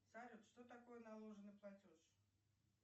салют что такое наложенный платеж